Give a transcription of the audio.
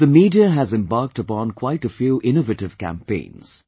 The media has embarked upon quite a few innovative campaigns